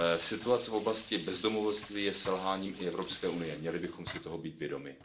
Situace v oblasti bezdomovectví je selháním i Evropské unie, měli bychom si toho být vědomi.